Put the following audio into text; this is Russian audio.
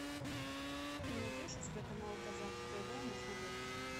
ты найдешь у себя канал казах тв на смотрешке